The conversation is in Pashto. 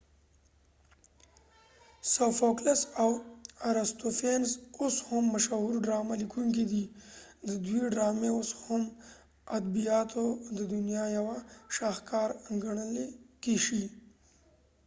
سو فوکلس او ارستوفینز اوس هم مشهور ډرامه لیکونکی دی ددوی ډرامی اوس هم ادبیاتو ددنیا یوه شاهکار ګڼلی شی